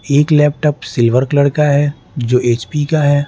एक laptop silver colour का है जो एच_पी का है।